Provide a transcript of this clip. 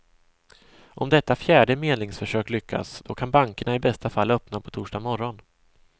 Om detta fjärde medlingsförsök lyckas, då kan bankerna i bästa fall öppna på torsdag morgon.